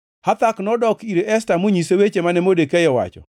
Hathak nodok ir Esta monyise weche mane Modekai owacho.